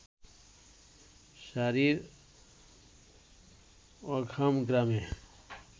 সারি-র অকহাম গ্রামে